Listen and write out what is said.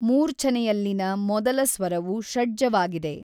ಮೂರ್ಛನೆಯಲ್ಲಿನ ಮೊದಲ ಸ್ವರವು ಷಡ್ಜವಾಗಿದೆ.